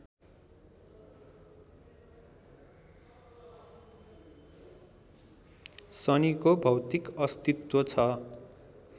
शनिको भौतिक अस्तित्व छ